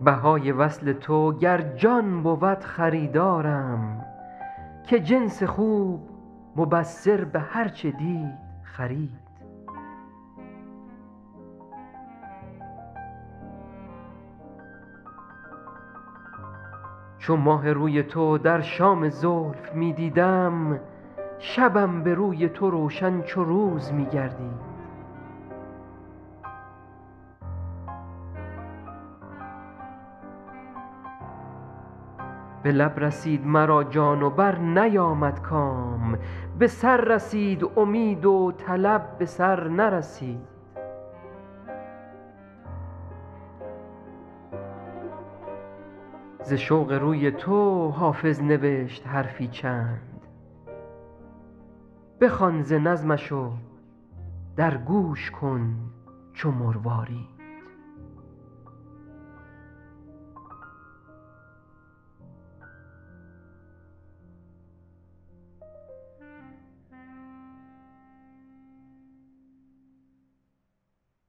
بهای وصل تو گر جان بود خریدارم که جنس خوب مبصر به هر چه دید خرید چو ماه روی تو در شام زلف می دیدم شبم به روی تو روشن چو روز می گردید به لب رسید مرا جان و برنیامد کام به سر رسید امید و طلب به سر نرسید ز شوق روی تو حافظ نوشت حرفی چند بخوان ز نظمش و در گوش کن چو مروارید